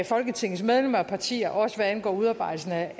folketingets medlemmer og partier også hvad angår udarbejdelsen af